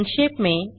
संक्षेप में